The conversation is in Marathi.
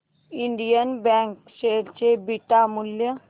इंडियन बँक शेअर चे बीटा मूल्य